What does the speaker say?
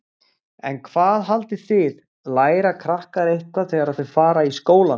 En hvað haldið þið, læra krakkar eitthvað þegar þau fara í skólann?